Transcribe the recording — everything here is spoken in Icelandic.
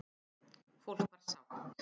Fólk var sátt.